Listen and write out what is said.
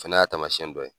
Fɛnɛ y'a taamasiyɛn dɔ ye